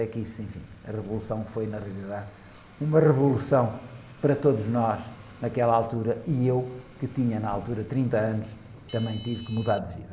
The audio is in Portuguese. A revolução foi, na realidade, uma revolução para todos nós naquela altura e eu, que tinha na altura trinta anos, também tive que mudar de vida.